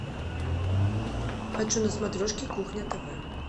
хочу на смотрешке кухня тв